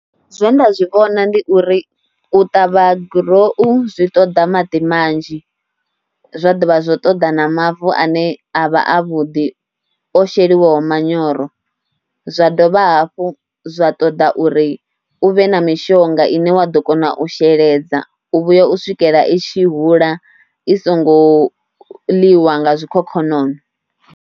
Zwe nda zwi vhona ndi uri u ṱavha gurowu zwi ṱoḓa maḓi manzhi, zwa dovha zwo ṱoḓa na mavu ane a vha avhuḓi o sheliwa manyoro. Zwa dovha hafhu zwa ṱoḓa uri u vhe na mishonga ine wa ḓo kona u sheledza u vhuya u swikela i tshi hula i songo ḽiwa nga zwikhokhonono.